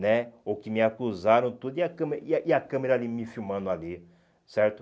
né, ou que me acusaram tudo, e a câmera e a a câmera ali me filmando ali, certo?